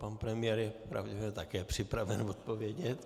Pan premiér je pravděpodobně také připraven odpovědět.